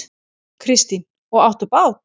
Kristín: Og áttu bát?